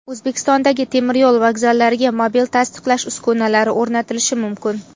O‘zbekistondagi temiryo‘l vokzallariga mobil tasdiqlash uskunalari o‘rnatilishi mumkin.